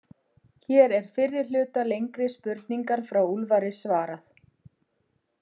Hér er fyrri hluta lengri spurningar frá Úlfari svarað.